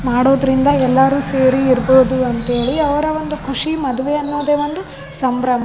ಮಾಡೋದ್ರಿಂದ ಎಲ್ಲಾರು ಸೇರಿ ಇರ್ಬೋದು ಅಂತೇಳಿ ಅವ್ರ ಒಂದು ಖುಷಿ ಮದುವೆ ಅನ್ನೋದು ಒಂದು ಸಂಭ್ರಮ.